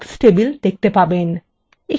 এখানে আরেকটি অনুশীলনী রয়েছে :